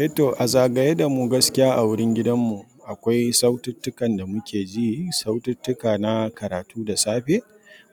Eh to, a zagaye da mu gaskiya a wurin gidan mu akwai saututtukan da muke ji. Saututtuka na karatu da safe,